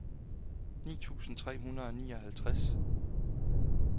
ni tusind tre hundrede og nioghalvtreds